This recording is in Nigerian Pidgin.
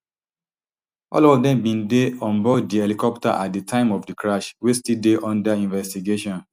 all of dem bin dey onboard di helicopter at di time of di crash wey still dey under investigation